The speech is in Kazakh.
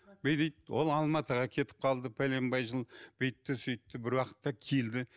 бүй дейді ол алматыға кетіп қалды пәленбай жыл бүйтті сөйтті бір уақытта келді